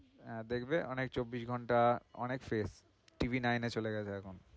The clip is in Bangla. হ্যাঁ, দেখবে অনেক চব্বিশ ঘন্টা অনেক safeTVnine এ চলে গেছে এখন।